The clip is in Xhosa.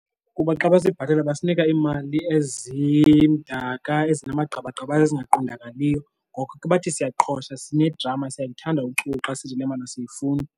Kukuba xa besibhatala basinika iimali ezimdaka ezinamagqabagqabaza ezingaqondakaliyo, ngoko ke bathi siyaqhosha sine-drama siyaluthanda uchuku xa sisithi le mali asiyifuni.